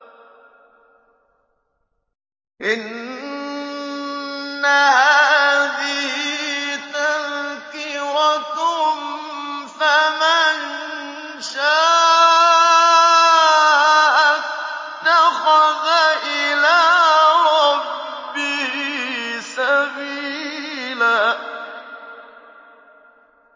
إِنَّ هَٰذِهِ تَذْكِرَةٌ ۖ فَمَن شَاءَ اتَّخَذَ إِلَىٰ رَبِّهِ سَبِيلًا